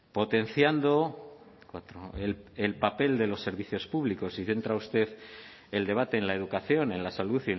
potenciando el papel de los servicios públicos y centra usted el debate en la educación en la salud